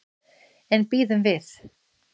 En bíðum við.